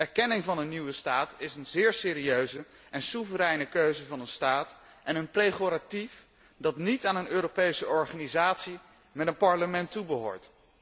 Erkenning van een nieuwe staat is een zeer serieuze en soevereine keuze van een staat en een pregoratief dat niet aan een Europese organisatie met een parlement toebehoort.